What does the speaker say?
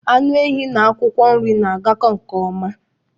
Anụ ehi n'akwụkwọ nri na-agako nke ọma